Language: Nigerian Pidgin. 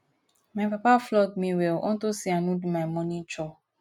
my papa flog me well unto say i no do my morning chore